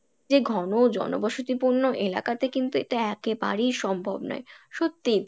যে ঘন জনবসতি পূর্ণ এলাকা তে কিন্তু এটা একেবারেই সম্ভব নই, সত্যিই